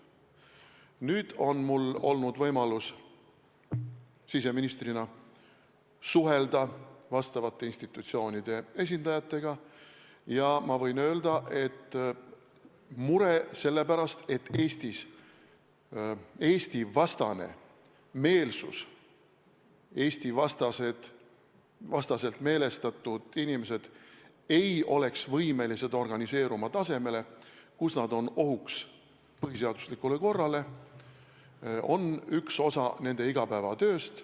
Nüüd on mul siseministrina olnud võimalus suhelda vastavate institutsioonide esindajatega ja ma võin öelda, et mure selle pärast, ega ei ole Eesti-vastast meelsust või kas Eesti-vastaselt meelestatud inimesed oleksid võimelised organiseeruma tasemel, kus nad on ohuks põhiseaduslikule korrale, on üks osa nende igapäevatööst.